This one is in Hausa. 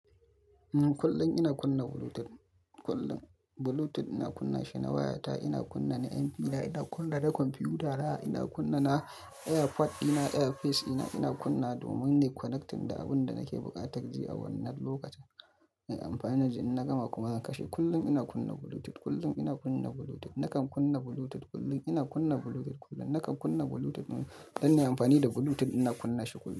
Kullum ina kunna Bluetooth, kullum Bluetooth ina kunna shi na wayata, ina kunna na MP na, ina kunna na kwamfiyutana ina kunna na AirPod dina, earpiece dina ina kunnawa domin nayi connecting da abin da nake buƙatar ji a wannan lokacin. Nayi amfani da shi, in na gama kuma zan kashe. Kullum ina kunna Bluetooth, kullum ina kunna Bluetooth. Nakan kunna Bluetooth kullum, ina kunna Bluetooth kullum. Nakan kunna Bluetooth don in yi amfani da Bluetooth ina kunna shi kullum.